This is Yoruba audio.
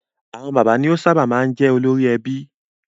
Àwọn father ni ó sábà máa ń jẹ́ olórí ẹbí.